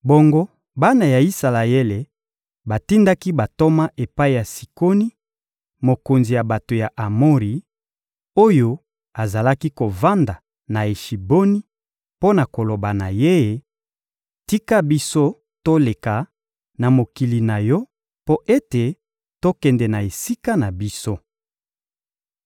Bongo bana ya Isalaele batindaki bantoma epai ya Sikoni, mokonzi ya bato ya Amori, oyo azalaki kovanda na Eshiboni mpo na koloba na ye: ‹Tika biso toleka na mokili na yo mpo ete tokende na esika na biso.›